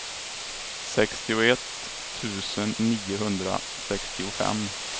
sextioett tusen niohundrasextiofem